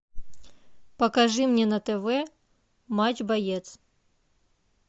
покажи мне на тв матч боец